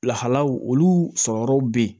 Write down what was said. Lahalaw olu sɔrɔ yɔrɔw be yen